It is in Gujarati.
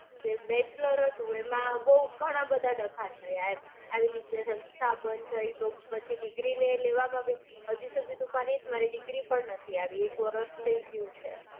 કે bachelor હતું એમાં બઉ ઘણા બધા ડખા થયા. એમ આવી રીતે સંસ્થા બંધ થઇ તો પછી degree લેવામાં બી હાજી તો મારી degree પણ નથી આવી. એક વરસ તો થઇ ગયું છે.